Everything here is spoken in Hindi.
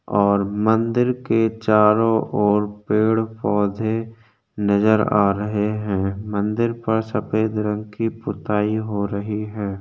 और मंदिर के चारों ओर पेड़-पौधे नज़र आ रहे है मंदिर पर सफ़ेद रंग की पुताई हो रही है।